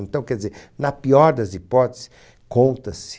Então, quer dizer, na pior das hipóteses, conta-se.